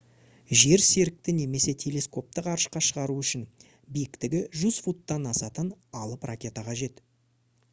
жерсерікті немесе телескопты ғарышқа шығару үшін биіктігі 100 футтан асатын алып ракета қажет